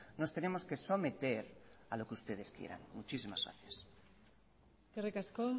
nos tenemos que someter a lo que ustedes quieran muchísimas gracias eskerrik asko